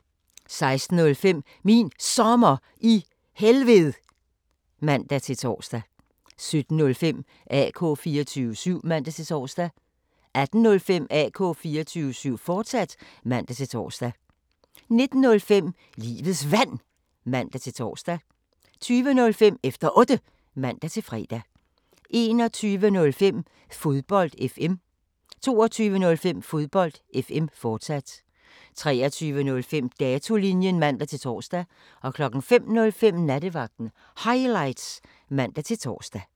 16:05: Min Sommer i Helved (man-tor) 17:05: AK 24syv (man-tor) 18:05: AK 24syv, fortsat (man-tor) 19:05: Livets Vand (man-tor) 20:05: Efter Otte (man-fre) 21:05: Fodbold FM 22:05: Fodbold FM, fortsat 23:05: Datolinjen (man-tor) 05:05: Nattevagten Highlights (man-tor)